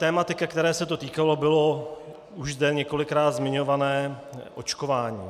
Tematika, které se to týkalo, bylo už zde několikrát zmiňované očkování.